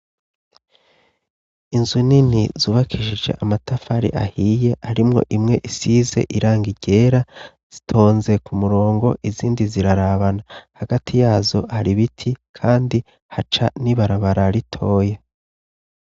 Inzu nini zubakishije amatafari ahiye, harimwo imwe isizeirangi ryera, zitonze ku murongo, izindi zirarabana. Hagati yazo hari ibiti kandi haca n'ibarabara ritoya.